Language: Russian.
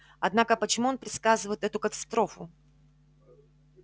однако почему он предсказывает эту катастрофу